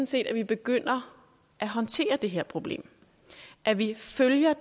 set at vi begynder at håndtere det her problem at vi følger